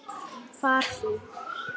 Far þú.